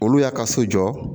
Olu y'a ka so jɔ